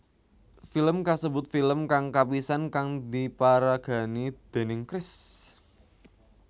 Film kasebut film kang kapisan kang diparagani déning Chris